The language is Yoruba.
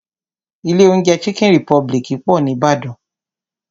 Ilé oúnjẹ chicken republic pọ̀ ní Ìbàdàn.